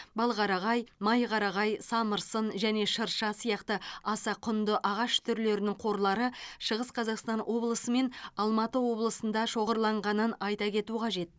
балқарағай майқарағай самырсын және шырша сияқты аса құнды ағаш түрлерінің қорлары шығыс қазақстан облысымен алматы облысында шоғырланғанын айта кету қажет